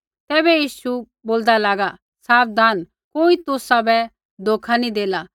तैबै यीशु बोलदा लागा साबधान कोई तुसाबै धोखा नी देला